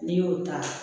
N'i y'o ta